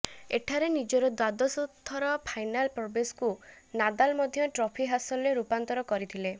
ଏଠାରେ ନିଜର ଦ୍ବାଦଶ ଥର ଫାଇନାଲ୍ ପ୍ରବେଶକୁ ନାଦାଲ ମଧ୍ୟ ଟ୍ରଫି ହାସଲରେ ରୂପାନ୍ତର କରିଥିଲେ